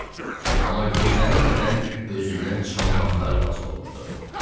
Amma gözlənilmədən özündən çıxan vaxtlar da az olmurdu.